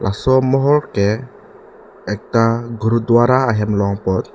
laso mohor ke ekta gurudwara ahem long pot.